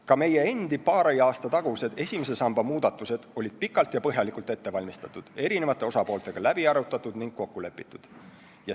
Ka meie endi paari aasta tagused esimese samba muudatused olid pikalt ja põhjalikult ette valmistatud, eri osapooltega läbi arutatud ning kokku lepitud.